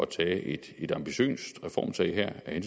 tage et et ambitiøst reformtag her af